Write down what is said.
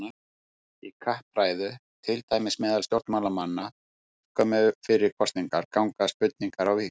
Í kappræðu, til dæmis meðal stjórnmálamanna skömmu fyrir kosningar, ganga spurningar á víxl.